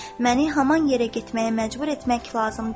Məni haman yerə getməyə məcbur etmək lazım deyil.